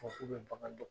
Fɔ k'u bɛ bagan dɔn